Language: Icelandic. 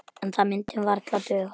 En það myndi varla duga.